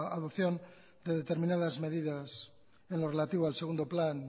adopción de determinadas medidas en lo relativo al segundo plan